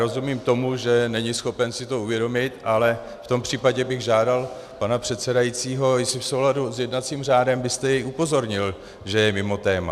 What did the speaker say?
Rozumím tomu, že není schopen si to uvědomit, ale v tom případě bych žádal pana předsedajícího, jestli v souladu s jednacím řádem byste jej upozornil, že je mimo téma.